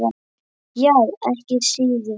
Já, ekki síður.